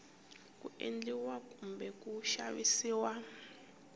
ku endliwa kumbe ku xavisiwa